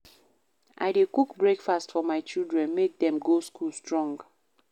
I dey cook breakfast for my children, make dem go school strong.